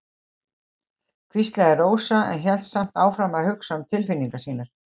hvíslaði Rósa en hélt samt áfram að hugsa um tilfinningar sínar.